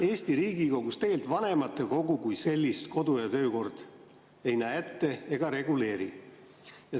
Eesti Riigikogus tegelikult vanematekogu kui sellist kodu‑ ja töökord ette ei näe ega reguleeri.